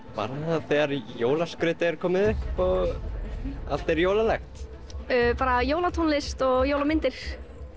þegar jólaskrautið er komið upp og allt er jólalegt jólatónlist og jólamyndir